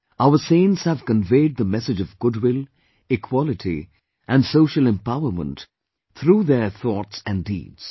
Our saints have conveyed the message of goodwill, equality and social empowerment through their thoughts and deeds